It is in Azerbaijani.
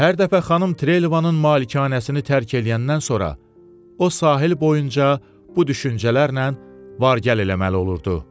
Hər dəfə xanım Treyləvanın malikanəsini tərk eləyəndən sonra o sahil boyunca bu düşüncələrlə var gəl eləməli olurdu.